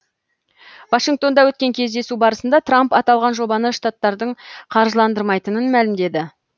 вашингтонда өткен кездесу барысында трамп аталған жобаны штаттардың қаржыландырмайтынын мәлімдеді